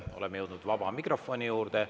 Oleme jõudnud vaba mikrofoni juurde.